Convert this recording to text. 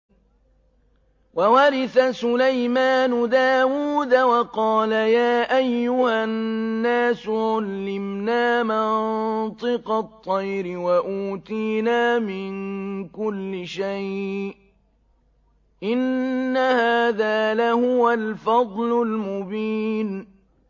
وَوَرِثَ سُلَيْمَانُ دَاوُودَ ۖ وَقَالَ يَا أَيُّهَا النَّاسُ عُلِّمْنَا مَنطِقَ الطَّيْرِ وَأُوتِينَا مِن كُلِّ شَيْءٍ ۖ إِنَّ هَٰذَا لَهُوَ الْفَضْلُ الْمُبِينُ